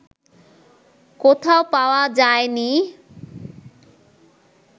কোথাও পাওয়া যায় নি